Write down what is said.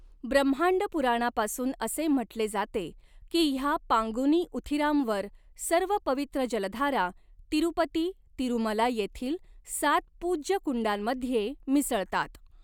ब्रह्मांड पुराणापासून असे म्हटले जाते, की ह्या पांगुनी उथिरामवर, सर्व पवित्र जलधारा तिरुपती तिरुमला येथील सात पूज्य कुंडांमध्ये मिसळतात.